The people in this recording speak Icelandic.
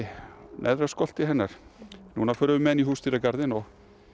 neðra hennar núna förum við með hana í húsdýragarðinn og